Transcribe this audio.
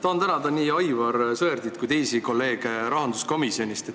Tahan tänada nii Aivar Sõerdi kui ka teisi kolleege rahanduskomisjonist.